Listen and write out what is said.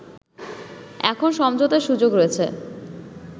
“এখন সমঝোতার সুযোগ রয়েছে